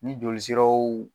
Ni joli siraw